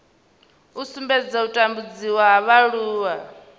u sumbedza u tambudziwa ha vhaaluwa